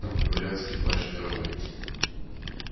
там говорят скрипач мировой